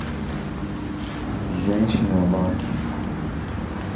женщина вамп